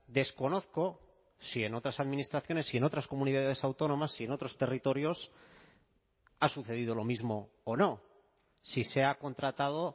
desconozco si en otras administraciones si en otras comunidades autónomas si en otros territorios ha sucedido lo mismo o no si se ha contratado